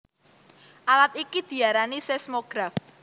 Alat iki diarani seismograf